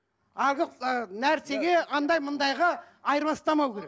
нәрсеге андай мұндайға айырбастамау керек